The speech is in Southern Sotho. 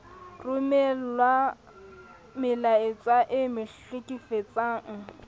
romellwa melaetsa e mo hlekefetsang